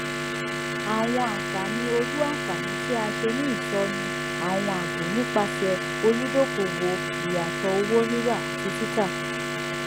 àwọn àǹfààní ọlú àǹfààní tí a ṣe ní ìsọnù àwọn àábò nipasẹ olùdókòwò ìyàtọ owó ríra àti títa